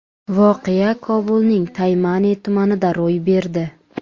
Voqea Kobulning Taymani tumanida ro‘y berdi.